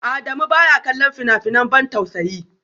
Adamu baya kallon fina-finan ban tausayi